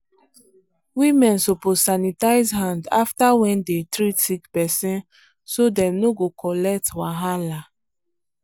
women suppose sanitize hand after when dey treat sick persin so dem no go collect wahala.